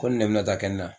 Ko nin ne bɛna taa kɛ n na